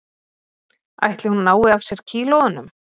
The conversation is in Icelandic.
Ætli hún nái af sér kílóunum